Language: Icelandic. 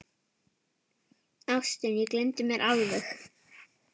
Ástin, ég gleymdi mér alveg!